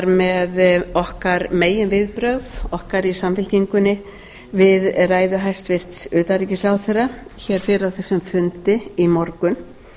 með okkar meginviðbrögð okkar í samfylkingunni við ræðu hæstvirts utanríkisráðherra hér fyrr á þessum fundi í morgun